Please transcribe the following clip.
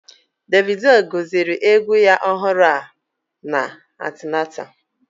Davido gosiri egwu ya ọhụrụ a na Atlanta